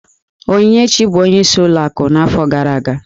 Onyinyechi bụ ọnyeis ụlọ akụ n'afọ gara aga.